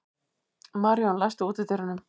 Maríon, læstu útidyrunum.